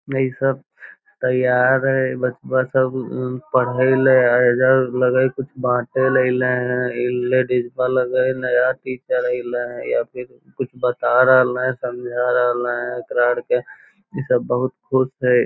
इ सब तैयार हेय बचवा सब पढ़े ले इधर लगे हेय कुछ बाटे ले ऐले हे इ लेडिज ते लगे हेय नया टीचर एले हेय कुछ बता रहले समझा रहले एकरा आर के इ सब बहुत खुश हेय।